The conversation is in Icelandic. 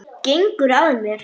Gengur að mér.